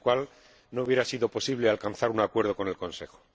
sin él no habría sido posible alcanzar un acuerdo con el Consejo.